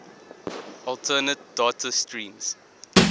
alternate data streams